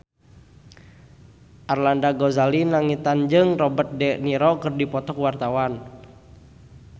Arlanda Ghazali Langitan jeung Robert de Niro keur dipoto ku wartawan